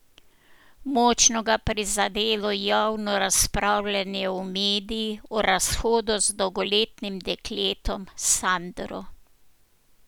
Močno ga je prizadelo javno razpravljanje v medijih o razhodu z dolgoletnim dekletom Sandro.